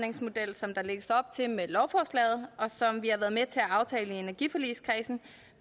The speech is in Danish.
som der lægges op til med lovforslaget og som vi har været med til at aftale i energiforligskredsen